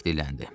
Falik dilləndi.